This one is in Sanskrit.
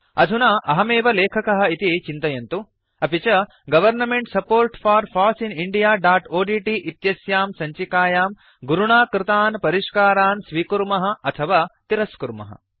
अधुना अहमेव लेखकः इति चिन्तयन्तु अपि च government support for foss in indiaओड्ट् इत्यस्यां सञ्चिकायां गुरुणा कृतान् परिष्कारान् स्वीकुर्मः अथवा तिरस्कुर्मः